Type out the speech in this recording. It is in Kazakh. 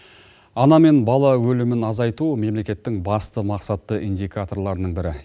ана мен бала өлімін азайту мемлекеттің басты мақсатты индикаторларының бірі